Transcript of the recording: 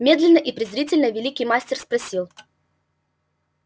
медленно и презрительно великий мастер спросил